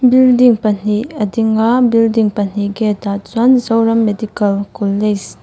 building pahnih a ding a building pahnih gate ah chuan zoram medical college --